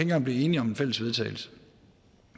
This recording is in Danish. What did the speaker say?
kan blive enige om en fælles vedtagelse